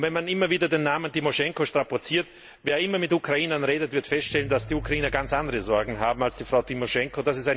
Und wenn man immer wieder den Namen Timoschenko strapaziert Wer immer mit Ukrainern redet, wird feststellen, dass sie ganz andere Sorgen haben als Frau Timoschenko.